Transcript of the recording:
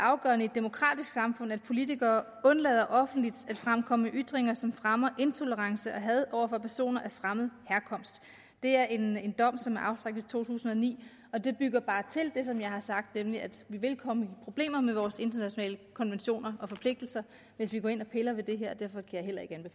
afgørende i et demokratisk samfund at politikere undlader offentligt at fremkomme med ytringer som fremmer intolerance og had over for personer af fremmed herkomst det er en dom som er afsagt i to tusind og ni og den bygger bare til det som jeg har sagt nemlig at vi vil komme i problemer med vores internationale konventioner og forpligtelser hvis vi går ind og piller ved det her derfor